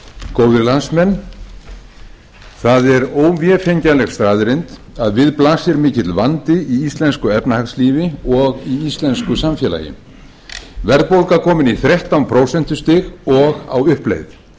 góðir landsmenn það er óvefengjanleg staðreynd að við blasir mikill vandi í íslensku efnahagslífi og í íslensku samfélagi verðbólga komin í þrettán prósent og á uppleið